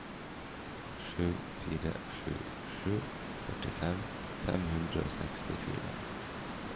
sju fire sju sju førtifem fem hundre og sekstifire